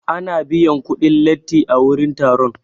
Ana biyan kuɗin latti a wurin taro.